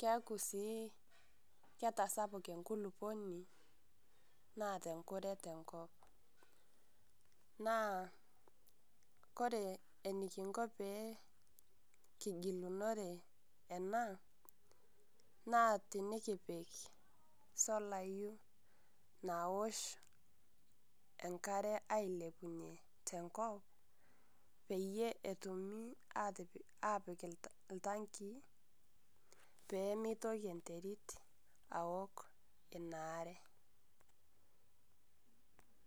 keeku sii ketasapuk enkuluponi naata nkuree te nkop. Naa kore enikinkoo pee nkijilunore ena naa tinikiip solayu naosh enkaare eilepunye te nkop peiye etuumi atipiik, apiik ltang'ii pee meitokii enteriit aook enia aare.